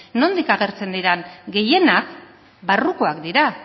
nondik agertzen diren gehienak barrukoak dira